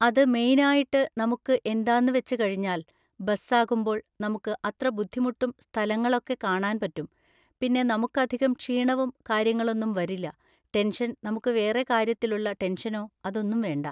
അത് മെയ്‌നായിട്ട് നമുക്ക് എന്താന്ന് വെച്ച് കഴിഞ്ഞാൽ ബസ്സാകുമ്പോൾ നമുക്ക് അത്ര ബുദ്ധിമുട്ടും സ്ഥലങ്ങളൊക്കെ കാണാൻ പറ്റും പിന്നെ നമുക്കധികം ക്ഷീണവും കാര്യങ്ങളൊന്നും വരില്ല ടെൻഷൻ നമുക്ക് വേറെ കാര്യത്തിലുള്ള ടെൻഷനോ അതൊന്നും വേണ്ട